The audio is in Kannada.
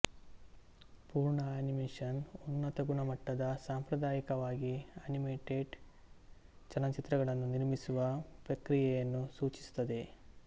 ಪೂರ್ಣ ಅನಿಮೇಷನ್ ಉನ್ನತಗುಣಮಟ್ಟದ ಸಾಂಪ್ರದಾಯಿಕವಾಗಿ ಅನಿಮೇಟೆಡ್ ಚಲನಚಿತ್ರಗಳನ್ನು ನಿರ್ಮಿಸುವ ಪ್ರಕ್ರಿಯೆಯನ್ನು ಸೂಚಿಸುತ್ತದೆ